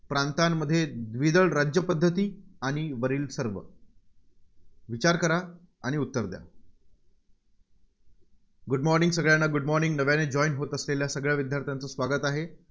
प्रांतांमध्ये द्विदल राज्यपद्धती, आणि वरील सर्व. विचार करा आणि उत्तर द्या. Good morning सगळ्यांना Good morning नव्याने join होत असलेल्या सगळ्या विद्यार्थ्यांचं स्वागत आहे.